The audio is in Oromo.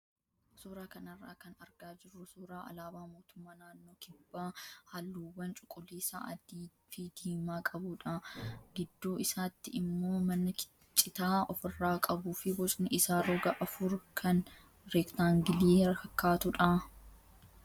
Suuraa kanarraa kan argaa jirru suuraa alaabaa mootummaa naannoo kibbaa halluuwwan cuquliisa, adii fi diimaa qabudha. Gidduu isaatti immoo mana citaa ofirraa qabuu fi bocni isaa roga afur kan reektaangilii fakkaatudha.